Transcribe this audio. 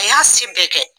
A y'a si bɛɛ kɛ